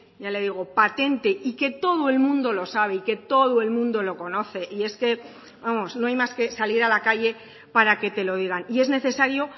ya le digo patente y que todo el mundo lo sabe y que todo el mundo lo conoce y es que no hay más que salir a la calle para que te lo digan y es necesario